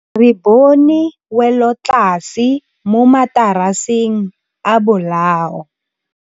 Re bone wêlôtlasê mo mataraseng a bolaô.